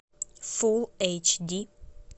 фулл эйч ди